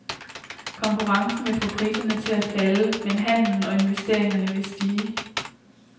Konkurrencen vil få priserne til at falde, men handel og investeringer vil stige.